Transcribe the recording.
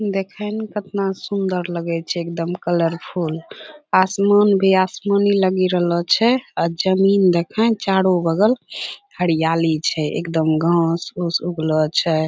देखैं में कतना सुंदर लगै छै एकदम कलरफुल आसमान भी आसमानी लगी रहलो छै आ जमीन देखैं चारो बगल हरियाली छै। एकदम घास-फुस उगलो छै।